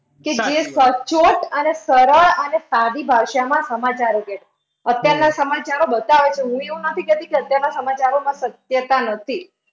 કે જે સચોટ અને સરળ અને સાદી ભાષામાં સમાચારો હતા. અત્યારના સમાચારો બતાવે છે. હું એવુંય નથી કહેતી કે અત્યારના સમાચારોમાં સત્યતા નથી.